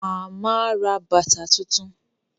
Màmá ra bàtà tuntun